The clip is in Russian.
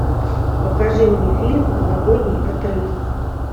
покажи мне фильм новогодний отрыв